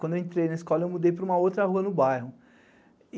Quando entrei na escola, mudei para uma outra rua no bairro.